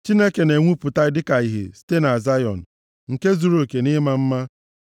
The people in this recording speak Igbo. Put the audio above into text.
Chineke na-enwupụta dịka ìhè, site na Zayọn, nke zuruoke nʼime ịma mma.